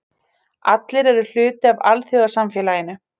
Allir eru hluti af alþjóðasamfélaginu.